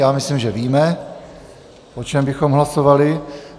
Já myslím, že víme, o čem bychom hlasovali.